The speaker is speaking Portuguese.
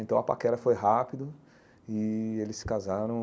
Então a paquera foi rápido e eles se casaram.